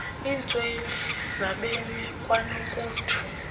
kwiintswelo zabemi kwanokuthu